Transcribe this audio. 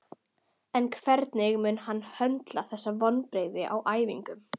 En hvernig mun hann höndla þessi vonbrigði á æfingum?